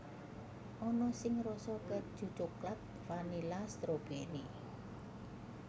Ana sing rasa kèju coklat vanila stroberi